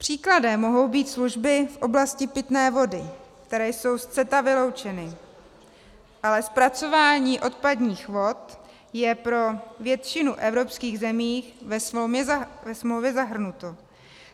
Příkladem mohou být služby v oblasti pitné vody, které jsou z CETA vyloučeny, ale zpracování odpadních vod je pro většinu evropských zemí ve smlouvě zahrnuto.